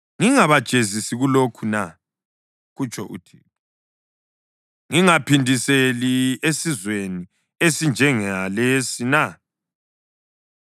Ngingabajezisi kulokhu na?” kutsho uThixo. “Ngingaphindiseli esizweni esinjengalesi na?